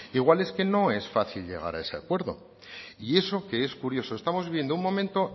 igual es que no es fácil llegar a ese acuerdo y eso que es curioso estamos viviendo un momento